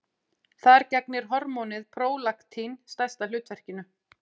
Þar gegnir hormónið prólaktín stærsta hlutverkinu.